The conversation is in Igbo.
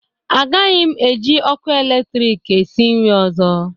Agaghị m eji ọkụ eletrik esi nri ọzọ